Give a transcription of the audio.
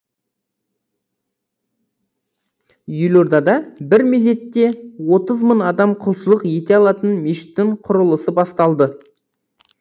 елордада бір мезетте отыз мың адам құлшылық ете алатын мешіттің құрылысы басталды